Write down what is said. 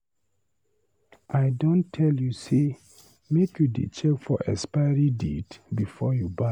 I don tell you say make you dey check for expiry date before you buy.